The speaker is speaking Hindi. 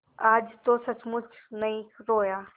आज तो सचमुच नहीं रोया